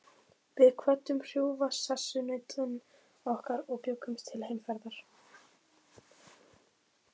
Við kvöddum hrjúfa sessunautinn okkar og bjuggumst til heimferðar.